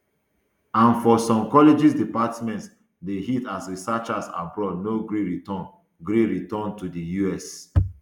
and for some colleges departments dey hit as researchers abroad no gree return gree return to di us